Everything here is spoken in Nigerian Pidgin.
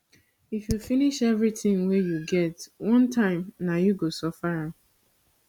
if you finish everything wey you get one time nah you go suffer am